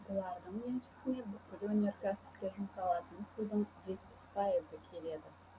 бұлардың еншісіне бүкіл өнеркәсіпке жұмсалатын судың жетпіс пайызы келеді